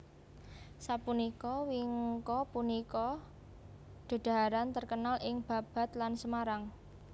Sapunika wingko punika dedhaharan terkenal ing Babat lan Semarang